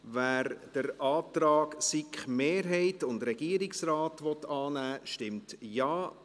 Wer den Antrag SiK-Mehrheit und Regierungsrat annehmen will, stimmt Ja,